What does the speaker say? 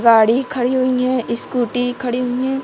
गाड़ी खड़ी हुई है स्कूटी खड़ी हुई है।